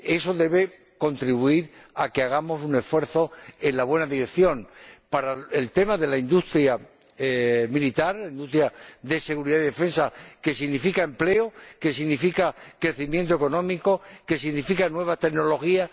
eso debe contribuir a que hagamos un esfuerzo en la buena dirección para el tema de la industria militar, de seguridad y defensa, que significa empleo, que significa crecimiento económico, que significa nuevas tecnologías.